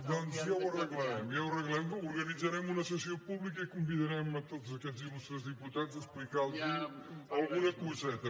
doncs ja ho arreglarem ja ho arreglarem organitzarem una sessió pública i convidarem tots aquests il·lustres diputats a explicar los alguna coseta